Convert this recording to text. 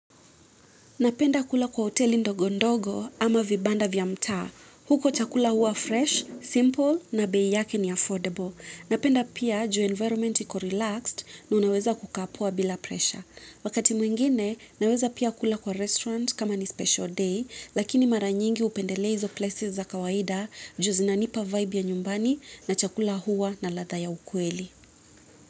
Napenda kula kwa hoteli ndogo ndogo ama vibanda vya mtaa. Huko chakula huwa fresh, simple na bei yake ni affordable. Napenda pia juu environment iko relaxed na unaweza kukapoa bila presha. Wakati mwingine, naweza pia kula kwa restaurant kama ni special day, lakini mara nyingi hupendelea hizo places za kawaida juu zinanipa vibe ya nyumbani na chakula huwa na ladha ya ukweli.